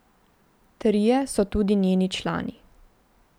Trije so tudi njeni člani.